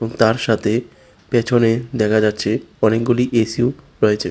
তার সাথে পেছনে দেখা যাচ্ছে অনেকগুলি এসিও রয়েছে।